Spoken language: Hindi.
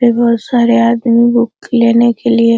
बहुत सारे आदमी बुक लेने के लिए--